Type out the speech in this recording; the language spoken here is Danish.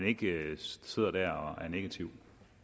ikke sidder der og er negativ